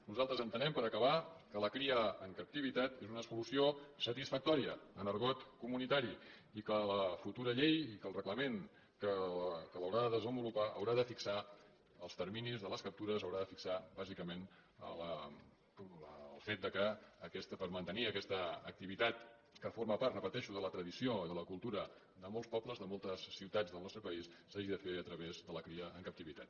nosaltres entenem per acabar que la cria en captivitat és una solució satisfactòria en argot comunitari i que la futura llei i que el reglament que ho hauran de desenvolupar haurà de fixar els terminis de les captures haurà de fixar bàsicament el fet que per mantenir aquesta activitat que forma part ho repeteixo de la tradició i de la cultura de molts pobles de moltes ciutats del nostre país s’hagi de fer a través de la cria en captivitat